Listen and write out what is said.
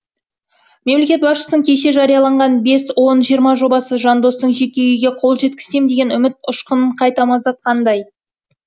мемлекет басшысының кеше жариялаған бес он жиырма жобасы жандостың жеке үйге қол жеткізсем деген үміт ұшқынын қайта маздатқандай